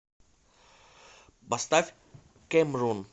поставь кэмрон